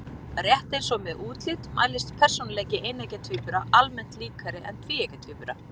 Rétt eins og með útlit mælist persónuleiki eineggja tvíbura almennt líkari en tvíeggja tvíbura.